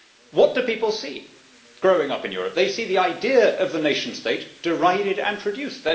What do people see when growing up in Europe? They see the idea of the nation state derided and traduced